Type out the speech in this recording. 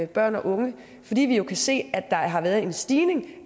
børn og unge fordi vi jo kan se at der har været en stigning i